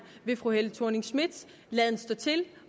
ved fru helle thorning schmidts laden stå til